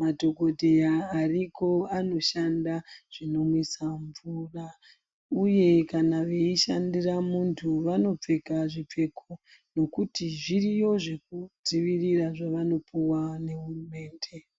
,madhokodheya ariko anoshanda zvinomwisa mvura uye kana weishandira muntu vanopfeka zvipfeko nokuti zviriyo zvekudzivirira zvavanopuwa nehurumende.